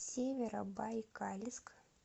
северобайкальск